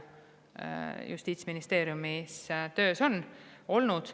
Justiitsministeeriumis on töös olnud ajalooliselt palju eelnõusid.